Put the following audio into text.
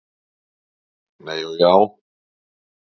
Nei og já!